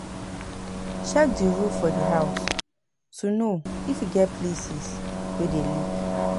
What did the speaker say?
Check di roof for di house to know if e get places wey dey leak